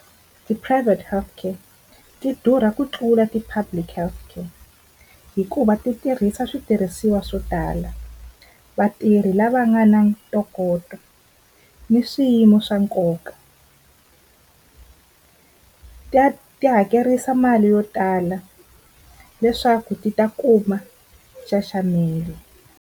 Ti-private healthcare ti durha ku tlula ti public healthcare hikuva titirhisa switirhisiwa swo tala, vatirhi lava nga na ntokoto ni swiyimo swa nkoka ta ti hakerisa mali yo tala leswaku ti ta kuma nxaxamelo.